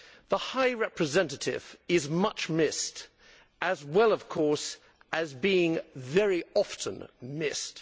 The High Representative is much missed, as well, of course, as being very often missed.